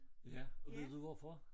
Ja og vil du vide hvorfor